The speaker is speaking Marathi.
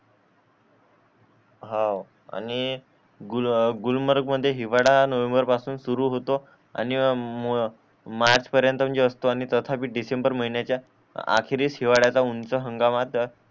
हा आणि गुल गुलमर्ग मध्ये हिवाळा नोव्हेंबर पासून चालू होतो आणि मार्च पर्यंत म्हणजे असतो आणि तस पण डिसेंबर महिन्याच्या आखरी हिवाळ्याचा उंच हंगामा तर